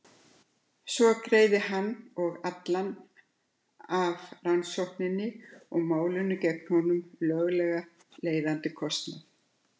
Svo greiði hann og allan af rannsókninni og málinu gegn honum löglega leiðandi kostnað.